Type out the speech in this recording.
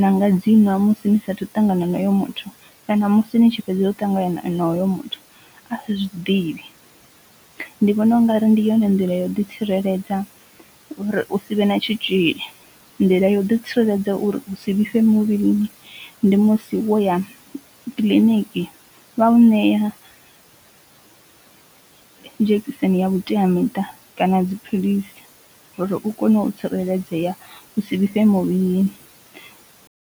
na nga dzi nwa musi ni sa athu ṱangana na hoyo muthu kana musi ni tshi fhedza u ṱangana nayo honoyo muthu a sa zwidivhi. ndi vhona ungari ndi yone nḓila ya u ḓi tsireledza uri u sivhe na tshitzhili, nḓila ya u ḓo tsireledza uri u si vhifhe muvhilini ndi musi wo ya kiḽiniki vha u ṋea dzhekiseni ya vhutea miṱa kana dziphilisi uri u kone u tsireledzea u si vhifhe muvhilini.